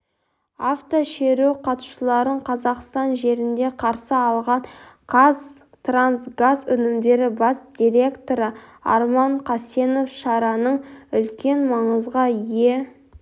автошеру қатысушыларын қазақстан жерінде қарсы алған қазтрансгаз өнімдері бас директоры арман қасенов шараның үлкен маңызға ие